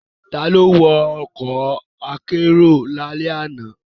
Ta ló wọ ọkọ̀ akérò lálẹ́ àná?